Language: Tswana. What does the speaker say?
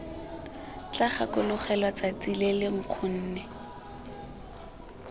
tla gakologelwa tsatsi lele nkgonne